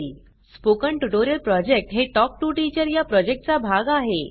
spoken tutorial project हे talk to teacher या प्रॉजेक्टचा भाग आहे